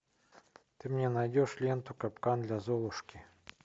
ты мне найдешь ленту капкан для золушки